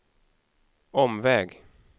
omväg